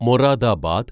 Moradabad